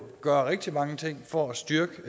gøre rigtig mange ting for at styrke